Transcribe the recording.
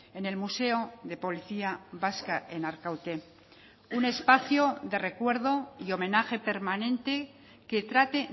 en el museo de policía vasca en arkaute un espacio de recuerdo y homenaje permanente que trate